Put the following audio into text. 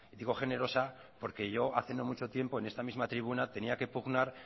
digo generosa porque yo hace no mucho tiempo en esta misma tribuna tenía que pugnar